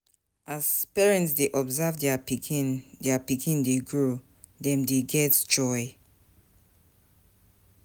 As di parent dey observe their pikin their pikin dey grow, dem dey get joy